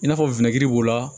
I n'a fɔ b'o la